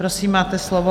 Prosím, máte slovo.